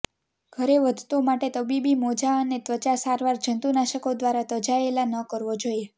ઘરે વધતો માટે તબીબી મોજા અને ત્વચા સારવાર જંતુનાશકો દ્વારા ત્યજાયેલા ન કરવો જોઇએ